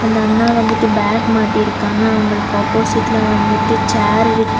அந்தண்ணா வந்துட்டு பேக் மாட்டிருக்காங்க. அவங்களுக்கு ஆப்போசிட்லா வந்துட்டு சேர் இருக்கு.